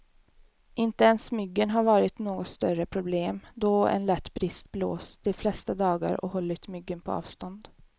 Inte ens myggen har varit något större problem, då en lätt bris blåst de flesta dagar och hållit myggen på avstånd.